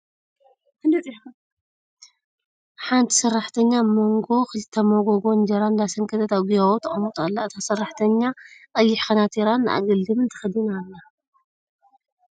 ሓንቲ ሰራሕተኛ ኣብ ክልተ ሞጎጎ እንጀራ እንዳሰንከተት ኣብ ጊባቦ ተቀምጦ ኣላ ። እታ ሰራሕተኛ ቀይሕ ከናቲራ ን ኣገልድምን ተከዲና ኣላ ።